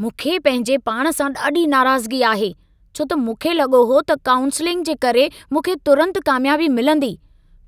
मूंखे पंहिंजे पाण सां ॾाढी नाराज़गी आहे छो त मूंखे लॻो हो त काउंसलिंग जे करे मूंखे तुरंत कामयाबी मिलंदी,